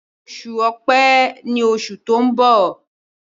Oṣù Ọ̀pẹ́ ní oṣù to'n bọ.